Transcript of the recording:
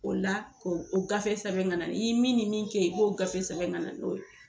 O la o gafe sɛbɛn ka na i ye min ni min kɛ ye i b'o gafe sɛbɛn ka na n'o ye.